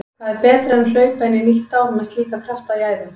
Hvað er betra en hlaupa inn í nýtt ár með slíka krafta í æðum?